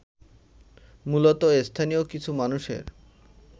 মূলত স্থানীয় কিছু মানুষের